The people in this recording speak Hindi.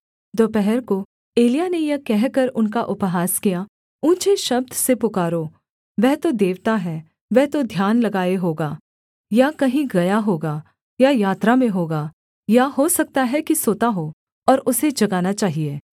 दोपहर को एलिय्याह ने यह कहकर उनका उपहास किया ऊँचे शब्द से पुकारो वह तो देवता है वह तो ध्यान लगाए होगा या कहीं गया होगा या यात्रा में होगा या हो सकता है कि सोता हो और उसे जगाना चाहिए